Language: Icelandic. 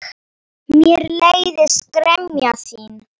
Mér leiðist gremja þín.